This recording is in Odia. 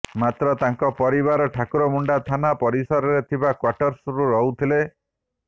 ମାତ୍ର ତାଙ୍କ ପରିବାର ଠାକୁରମୁଣ୍ଡା ଥାନା ପରିସରରେ ଥିବା କ୍ୱାର୍ଟର୍ସ ରହୁଥିଲେ